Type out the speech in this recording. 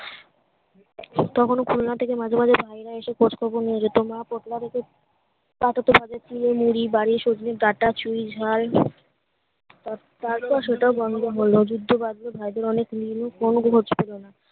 একটাও কোনো খুলনা থেকে মাঝে মাঝে দায়েরা এসে খোঁজখবর নিয়ে যেতো মা পোটলা বেচে তাকে তো পাতের স্টিল এ মুড়ি বাড়ি সজনে ডাটা চুইঝাল তারপর সেটা বন্ধ হলো যুদ্ধ্য বাধলো ভাইদের অনেক মিলিমিস কোনো